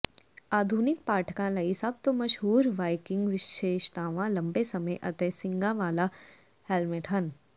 ਆਧੁਨਿਕ ਪਾਠਕਾਂ ਲਈ ਸਭ ਤੋਂ ਮਸ਼ਹੂਰ ਵਾਈਕਿੰਗ ਵਿਸ਼ੇਸ਼ਤਾਵਾਂ ਲੰਬੇ ਸਮੇਂ ਅਤੇ ਸਿੰਗਾਂ ਵਾਲਾ ਹੈਲਮਟ ਹਨ